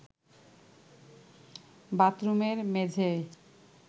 বাথরুমের মেঝেয়